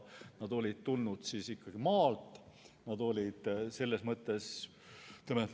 Nad olid tulnud maalt.